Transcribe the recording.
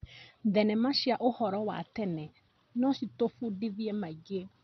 Thenema cia ũhoro wa tene no citũbundithie maingĩ.